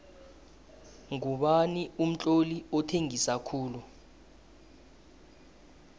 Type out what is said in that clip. ngubani umtloli othengisa khulu